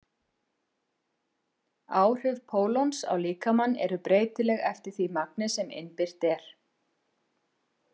Áhrif pólons á líkamann eru breytileg eftir því magni sem innbyrt er.